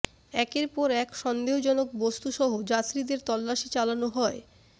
একের পর এক সন্দেহজনক বস্তুসহ যাত্রীদের তল্লাশি চালানো হয়